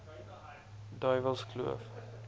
duiwelskloof